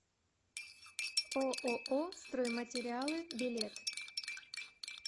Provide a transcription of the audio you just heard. ооо стройматериалы билет